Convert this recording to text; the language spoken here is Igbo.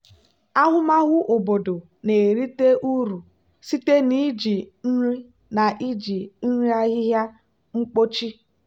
ahụmahụ obodo na-erite uru site na iji nri na iji nri ahịhịa ḿkpóchí